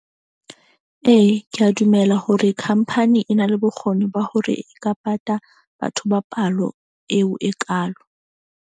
Ee, ke a dumela hore khampani e na le bokgoni ba hore e ka pata batho ba palo eo e kaalo.